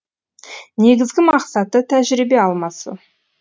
негізгі мақсаты тәжірибе алмасу